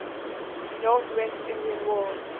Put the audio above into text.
northwest indian war